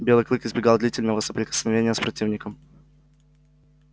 белый клык избегал длительного соприкосновения с противником